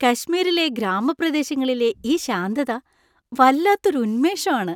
കശ്മീറിലെ ഗ്രാമപ്രദേശങ്ങളിലെ ഈ ശാന്തത വല്ലാത്തൊരു ഉന്മേഷം ആണ്.